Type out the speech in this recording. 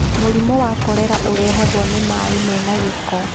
Mũrimũ wa korera ũrehagwo nĩ maaĩ mena gĩko